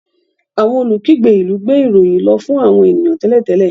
Awọn olukigbe ilú gbé ìròyìn lò fún àwọn ènìyàn télètélè